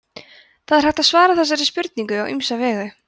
það er hægt að svara þessari spurningu á ýmsa vegu